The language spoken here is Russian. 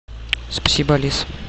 спасибо алиса